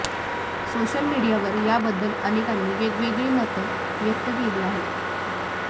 social मीडियावर याबद्दल अनेकांनी वेगवेगळी मतं व्यक्त केली आहेत